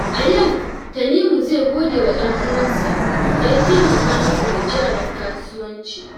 A yau, Tanimu zai gode wa ɗan'uwansa da ya taimaka masa da jarin kasuwanci.